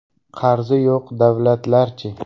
Qarzi yo‘q davlatlarchi?.